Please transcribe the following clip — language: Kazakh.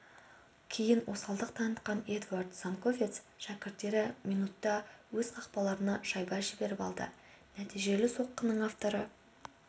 кейін осалдық танытқан эдуард занковец шәкірттері минутта өз қақпаларына шайба жіберіп алды нәтижелі соққының авторы